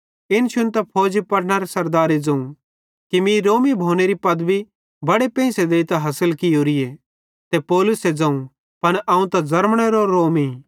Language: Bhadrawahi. इन शुन्तां फौजी पलटनरे सरदारे ज़ोवं कि मीं रोमी भोनेरी पदवी बड़े पेंइसे देइतां हासिल कियोरीए ते पौलुसे ज़ोवं पन अवं त ज़र्मनेरो रोमी